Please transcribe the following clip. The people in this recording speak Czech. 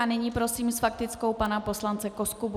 A nyní prosím s faktickou pana poslance Koskubu.